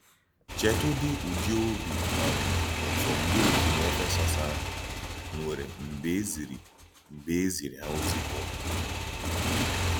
Chètùdí ùdị́ òbì um ùtù ndí òkènye Éfèsọ́s ahụ nwèrè mgbe e zìrì mgbe e zìrì hà òzì Pọ́l.